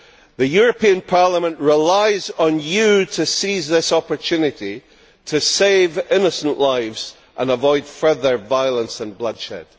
The European Parliament relies on you to seize this opportunity to save innocent lives and avoid further violence and bloodshed.